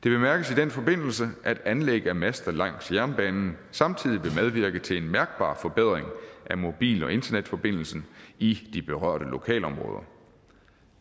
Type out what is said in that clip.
i den forbindelse at anlæg af master langs jernbanen samtidig vil medvirke til en mærkbar forbedring af mobil og internetforbindelsen i de berørte lokalområder